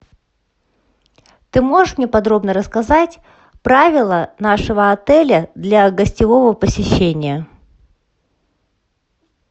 ты можешь мне подробно рассказать правила нашего отеля для гостевого посещения